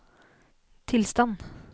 tilstand